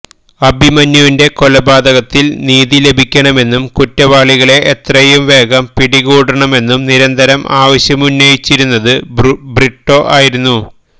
അഭിമന്യുവിന്റെ കൊലപാതകത്തില് നീതി ലഭിക്കണമെന്നും കുറ്റവാളികളെ എത്രയും വേഗം പിടികൂടണമെന്നും നിരന്തരം ആവശ്യമുന്നയിച്ചിരുന്നത് ബ്രിട്ടോ ആയിരുന്നു